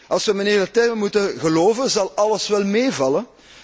Als we mijnheer Leterme moeten geloven, zal alles wel meevallen.